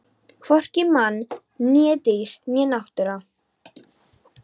Hvorki menn né dýr né náttúra.